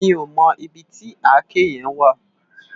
Mi ó mò ibi ti àké yèn wá